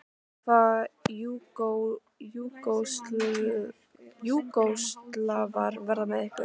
Hvaða Júgóslavar verða með ykkur?